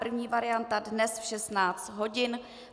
První varianta dnes v 16 hodin.